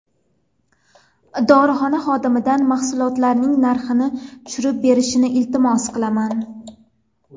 Dorixona xodimidan mahsulotlarning narxini tushirib berishini iltimos qilaman.